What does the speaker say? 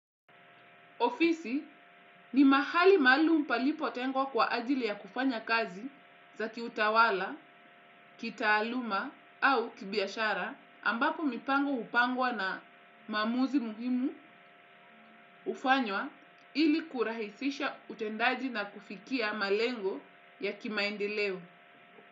Ofisi ni mahali maalumu palipotengwa kwa ajili ya kufanya kazi za kiutawala, kitaaluma au kibiashara ambapo mipango hupangwa na maamuzi muhimu hufanywa ili kurahisisha utendaji na kufikia malengo ya kimaendeleo.